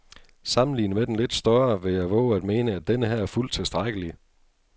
Sammenlignet med den lidt større vil jeg vove at mene, at denneher er fuldt tilstrækkelig.